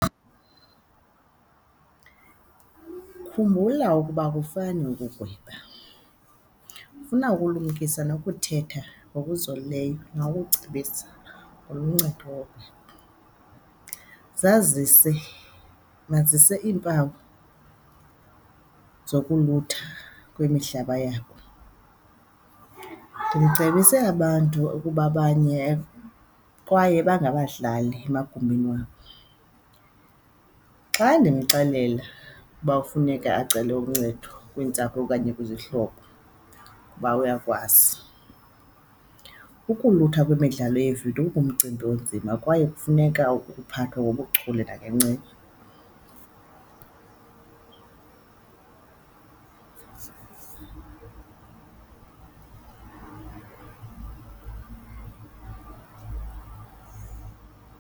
Khumbula ukuba akufani ukugweba, funa ukulumkisa nokuthetha ngokuzolileyo nokucebisa oluncedo. Zazise, masazise iimpawu zokulutha kwemihlaba yabo, ndimcebise abantu ukuba abanye kwaye bangabadlali emagumbini wabo. Xa ndimxelela uba kufuneka acele uncedo kwiintsapho okanye kwizihlobo kuba uyakwazi, ukulutha kwemidlalo yeevidiyo ingumcimbi onzima kwaye funeka ukuphathwe ngobuchule nangenceba.